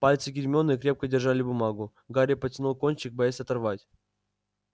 пальцы гермионы крепко держали бумагу гарри потянул кончик боясь оторвать